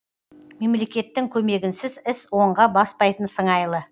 мемлекеттің көмегінсіз іс оңға баспайтын сыңайлы